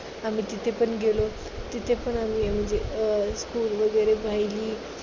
आम्ही तिथे पण गेलो, तिथेपण आम्ही अं म्हणजे school वगैरे पाहिली.